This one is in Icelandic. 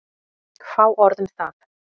Fá orð um það.